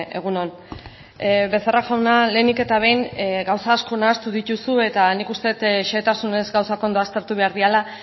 egun on becerra jauna lehenik eta behin gauza asko nahastu dituzu eta nik uste dut xehetasunez gauzak ondo aztertu behar direla